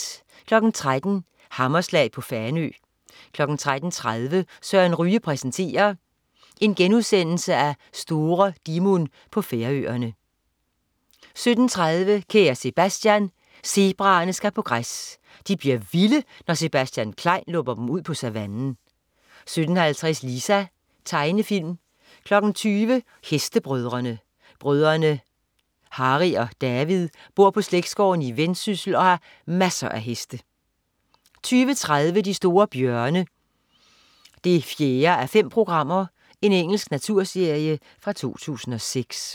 13.00 Hammerslag på Fanø 13.30 Søren Ryge præsenterer. Store Dimun på Færøerne* 17.30 Kære Sebastian. Zebraerne skal på græs. De bliver vilde, når Sebastian Klein lukker dem ud på savannen 17.50 Lisa. Tegnefilm 20.00 Hestebrødrene. Brødrene Harry og David bor på slægtsgården i Vendsyssel og har masser af heste 20.30 De store bjørne 4:5. Engelsk naturserie fra 2006